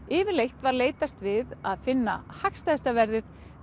yfirleitt var leitast við að finna hagstæðasta verðið